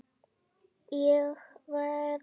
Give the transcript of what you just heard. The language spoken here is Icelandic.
Og veðrið.